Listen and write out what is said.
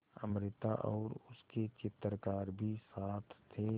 अमृता और उसके चित्रकार भी साथ थे